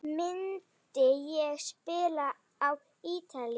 Myndi ég spila á Ítalíu?